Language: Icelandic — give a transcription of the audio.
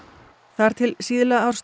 þar til síðla árs